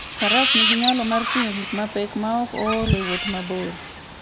Faras nigi nyalo mar ting'o gik mapek maok ool e wuoth mabor.